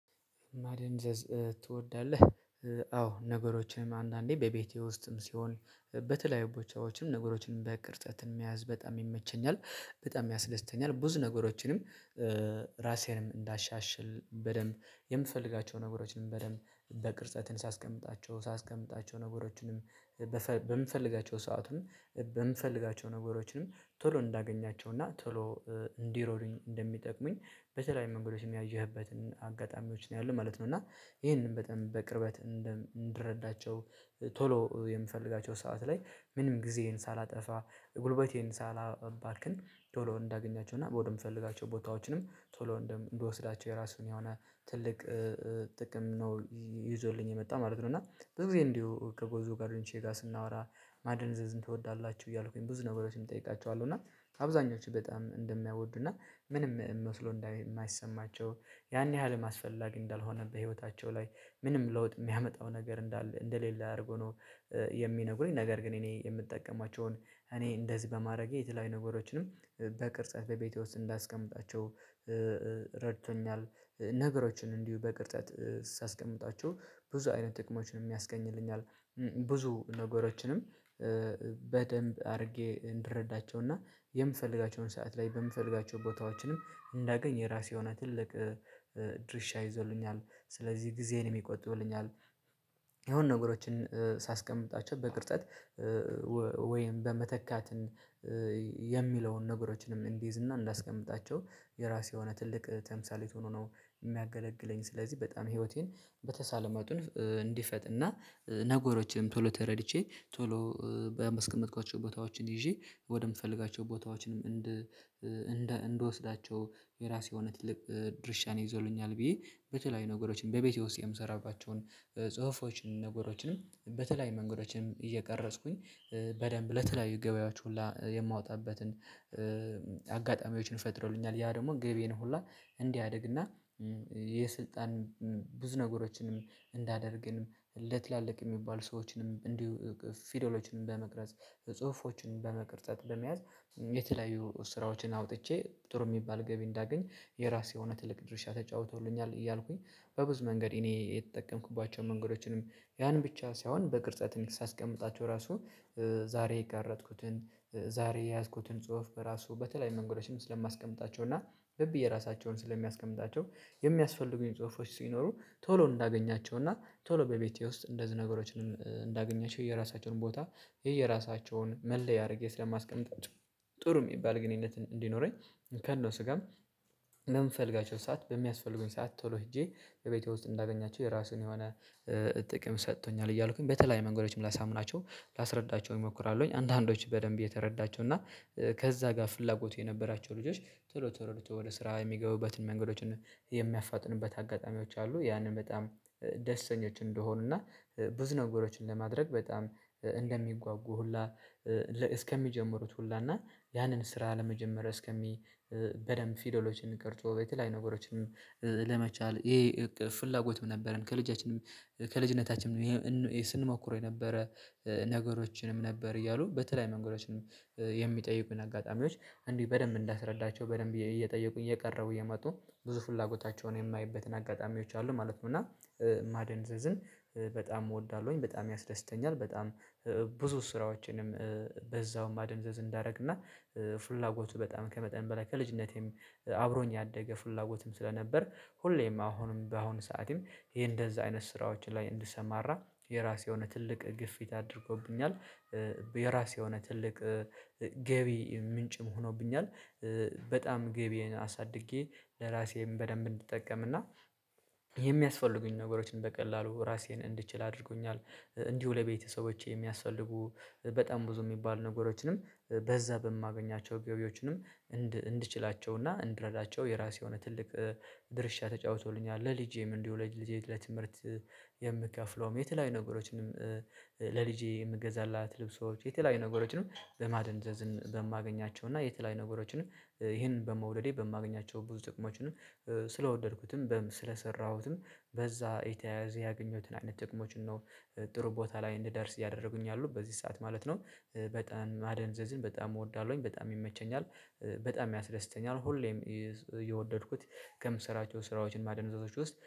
ማደንዘዝ ትወዳለህ? አዎ ነገሮችንም አንዳንዴ በቤቴ ውስጥም ሲሆን በተለያዩ ቦታዎችም ነገሮችን በቅርጸትን መያዝ በጣም ይመቸኛል በጣም ያስደስተኛል ብዙ ነገሮችንም። ራሴንም እንዳሻሽል በደንብ የምፈልጋቸውን ነገሮችን በደንብ በቅርጸትን ሳስቀምጣቸው ሳስቀምጣቸው ነገሮችንም በምፈልጋቸው ሰአቱን በምፈልጋቸው ነገሮችንም ቶሎ እንዳገኛቸው እና ቶሎ እንዲረዱኝ እንደሚጠቅሙኝ በተለይ መንገዶችም ያየህበትን አጋጣሚዎች ነው ያለው ማለት ነው። እና ይሄንን በጣም በቅርበት እንድረዳቸው ቶሎ የምፈልጋቸው ሰዓት ላይ ምንም ጊዜን ሳላጠፋ ጉልበቴን ሳላባክን ቶሎ እንዳገኛቸው እና ወደምፈልጋቸው ቦታዎችንም ቶሎ እንድወስዳቸው የራሱን የሆነ ትልቅ ጥቅም ነው ይዞልኝ የመጣ ማለት ነው። እና ብዙ ጊዜ እንዲሁ ከብዙ ጎደኞቼ ጋር ስናወራ ማደንዘዝን ትወዳላችሁ እያልኩኝ ብዙ ነገሮችን እጠይቃቸዋለሁ። እና አብዛኞቹ በጣም እንደማያወዱ እና ምንም መስሎ እንደማይሰማቸው ያን ያህል አስፈላጊ እንዳልሆነ በህይወታቸው ላይ ምንም ለውጥ የሚያመጣው ነገር እንዳለ እንደሌለ አድርጎ ነው። የሚነግሩኝ ነገር ግን እኔ የምጠቀማቸውን እኔ እንደዚህ በማድረጌ የተለያዩ ነገሮችንም በቅርጸት በቤቴ ውስጥ እንዳስቀምጣቸው ረድቶኛል። ነገሮችን እንዲሁ በቅርጸት ሳስቀምጣቸው ብዙ አይነት ጥቅሞችን ያስገኝልኛል። ብዙ ነገሮችንም በደንብ አድርጌ እንድረዳቸውና የምፈልጋቸውን ሰዓት ላይ በምፈልጋቸው ቦታዎችንም እንዳገኝ የራሴ የሆነ ትልቅ ድርሻ ይዞልኛል። ስለዚህ ጊዜን ይቆጥብልኛል። የሆነ ነገሮችን ሳስቀምጣቸው በቅርጸት ወይም በመተካትን የሚለውን ነገሮችንም እንዲይዝ እና እንዳስቀምጣቸው የራሴ የሆነ ትልቅ ተምሳሌት ሆኖ ነው የሚያገለግለኝ። ስለዚህ በጣም ህይወቴን በተቻለ መጡን እንዲፈጥንና ነገሮችንም ቶሎ ተረድቼ ቶሎ በማስቀምጥኳቸው ቦታዎችን ይዤ ወደምፈልጋቸው ቦታዎችንም እንድ እንድ እንድወስዳቸው የራሱ የሆነ ትልቅ ድርሻን ይዞልኛል። ብዬ በተለያዩ ነገሮችን በቤቴ ውስጥ የምሰራባቸውን ጽሁፎችን ነገሮችንም በተለያዩ መንገዶችንም እየቀረጽኩኝ በደንብ ለተለያዩ ገበያዎች ሁላ የማወጣበትን አጋጣሚዎችን ፈጥረውኛል። ያ ደግሞ ገቢዬን ሁላ እንዲያድግና የስልጣን ብዙ ነገሮችንም እንዳደርግንም ለትላልቅ የሚባል ሰዎችንም እንዲሁ ፊደሎችንም በመቅረጽ ጽሁፎችን በመቅረጸት በመያዝ የተለያዩ ስራዎችን አውጥቼ ጥሩ የሚባል ገቢ እንዳገኝ የራሱ የሆነ ትልቅ ድርሻ ተጫውቶልኛል። እያልኩኝ በብዙ መንገድ እኔ የተጠቀምኩባቸውን መንገዶችንም ያን ብቻ ሳይሆን በቅርጸት ሳስቀምጣቸው ራሱ ዛሬ የቀረጥኩትን ዛሬ የያዝኩትን ጽሁፍ በራሱ በተለያዩ መንገዶችም ስለማስቀምጣቸው እና ዝም ብዬ ራሳቸውን ስለሚያስቀምጣቸው። የሚያስፈልጉኝ ጽሁፎች ሲኖሩ ቶሎ እንዳገኛቸው እና ቶሎ በቤቴ ውስጥ እንደዚህ ነገሮችንም እንዳገኛችሁ የራሳቸውን ቦታ የራሳቸውን መለያ አድርጌ ስለማስቀምጣቸው። ጥሩ የሚባል ግንኙነት እንዲኖረኝ ከእነሱ ጋርም በምፈልጋቸው ሰዓት በሚያስፈልጉኝ ሰዓት ቶሎ ሄጄ ቤቴ ውስጥ እንዳገኛቸው የራሱን የሆነ ጥቅም ሰጥቶኛል። እያልኩኝ በተለያዩ መንገዶችም ላሳምናቸው ላስረዳቸው እንሞክራለሁኝ አንዳንዶች በደንብ እየተረዳቸው እና ከዛ ጋር ፍላጎቱ የነበራቸው ልጆች ቶሎ ቶሎ ወደ ስራ የሚገቡበትን መንገዶችን የሚያፋጥኑበት አጋጣሚዎች አሉ። ያንን በጣም ደስተኞች እንደሆኑ እና ብዙ ነገሮችን ለማድረግ በጣም እንደሚጓጉ ሁላ እስከሚጀምሩት ሁላ እና ያንን ስራ ለመጀመር እስከሚ በደንብ ፊደሎችን ቀርፆ በተለያዩ ነገሮችንም ለመቻል ይሄ ፍላጎትም ነበረን። ከልጃችንም ከልጅነታችንም ስንሞክረው የነበረ ነገሮችንም ነበር እያሉ በተለያዩ መንገዶችን የሚጠይቁን አጋጣሚዎች እንዲህ በደንብ እንዳስረዳቸው በደንብ እየጠየቁኝ እየቀረቡ እየመጡ ብዙ ፍላጎታቸውን የማይበትን አጋጣሚዎች አሉ ማለት ነው። እና ማደንዘዝን በጣም እወዳለሁኝ በጣም ያስደስተኛል። በጣም ብዙ ስራዎችንም በዛውም ማደንዘዝ እንዳደረግና ፍላጎቱ በጣም ከመጠን በላይ ከልጅነቴም አብሮኝ ያደገ ፍላጎትም ስለነበር ሁሌም አሁንም በአሁን ሰዓትም ይሄ እንደዚህ አይነት ስራዎችን ላይ እንድሰማራ የራሱ የሆነ ትልቅ ግፊት አድርጎብኛል። የራሴ የሆነ ትልቅ ገቢ ምንጭም ሆኖብኛል። በጣም ገቢን አሳድጌ ለራሴም በደንብ እንድጠቀም እና የሚያስፈልጉኝ ነገሮችን በቀላሉ ራሴን እንድችል አድርጎኛል። እንዲሁ ለቤተሰቦቼ የሚያስፈልጉ በጣም ብዙ የሚባሉ ነገሮችንም በዛ በማገኛቸው ገቢዎችንም እንድችላቸውና እንድረዳቸው የራሱ የሆነ ትልቅ ድርሻ ተጫውቶልኛል። ለልጄም እንዲሁ ለልጅ ልጄ ለትምህርት የምከፍለውም የተለያዩ ነገሮችንም ለልጄ የምገዛላት ልብሶች የተለያዩ ነገሮችንም በማደንዘዝን በማገኛቸው እና የተለያዩ ነገሮችንም ይሄንን በመውደዴ በማገኛቸው ብዙ ጥቅሞችንም ስለወደድኩትም ስለሰራሁትም በዛ የተያያዘ ያገኘሁትን አይነት ጥቅሞችን ነው። ጥሩ ቦታ ላይ እንድደርስ ያደረጉኝ አሉ በዚህ ሰዓት ማለት ነው። በጣም መደንዘዝን በጣም እወዳለሁኝ በጣም ይመቸኛል በጣም ያስደስተኛል። ሁሌም የወደድኩት ከምሰራቸው ስራዎች ማደንዘዞች ውስጥ